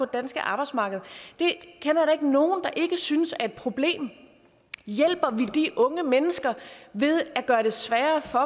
danske arbejdsmarked jeg kender ikke nogen der ikke synes at et problem hjælper vi de unge mennesker ved at gøre det sværere for